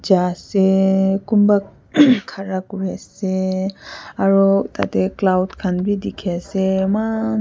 jaiseee konba uhmmm kara kuri ase aro tate cloud kan be teki ase emmaan.